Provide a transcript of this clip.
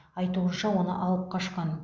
айтуынша оны алып қашқан